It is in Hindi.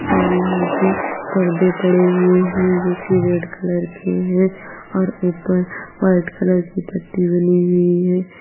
और यहां पे पर्दे पड़े हुए हैं जो की रेड कलर के हैं और ऊपर व्हाइट कलर की पट्टी बनी हुई है।